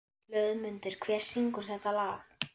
Hlöðmundur, hver syngur þetta lag?